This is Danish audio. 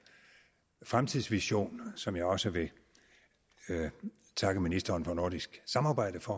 fremtidsvision som jeg også vil takke ministeren for nordisk samarbejde for